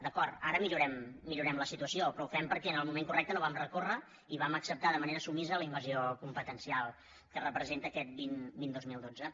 d’acord ara millorem la situació però ho fem perquè en el moment correcte no hi vam recórrer i vam acceptar de manera submisa la invasió competencial que representa aquest vint dos mil dotze